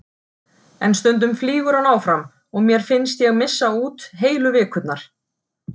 En stundum flýgur hann áfram og mér finnst ég missa út heilu vikurnar.